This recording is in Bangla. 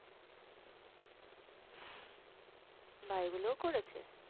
বাহ এগুলোও করেছে?